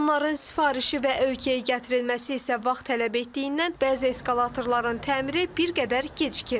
Onların sifarişi və ölkəyə gətirilməsi isə vaxt tələb etdiyindən bəzi eskalatorların təmiri bir qədər gecikir.